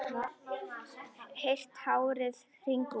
Heyrt árið hringt út.